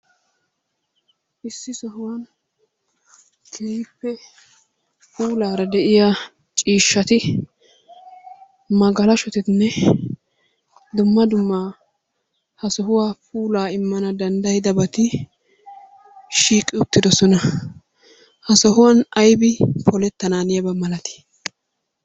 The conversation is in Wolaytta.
Issi sohuwan keehippe puulaara de'iya ciishshati, magalashotinne dumma dumma ha sohuwa puulaa immana danddayidabati shiiqi uttidosona. Ha sohuwan aybi polettanaaniyaba malatii?